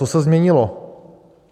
Co se změnilo?